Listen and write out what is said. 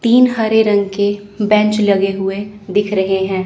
तीन हरे रंग के बेंच लगे हुए दिख रहे हैं।